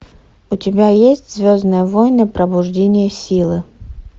у тебя есть звездные войны пробуждение силы